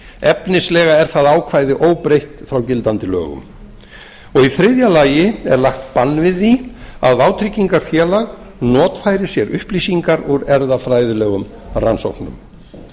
efnislega er það ákvæði á óbreytt frá gildandi lögum í þriðja lagi er lagt bann við því að vátryggingafélag notfæri sér upplýsingar úr erfðafræðilegum rannsóknum